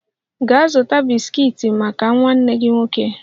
Gaa zụta bisikiiti maka nwanne gị nwoke